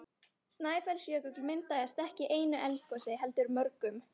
Snæfellsjökull myndaðist ekki í einu eldgosi heldur mörgum.